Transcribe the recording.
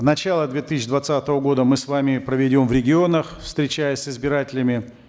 начало две тысячи двадцатого года мы с вами проведем в регионах встречаясь с избирателями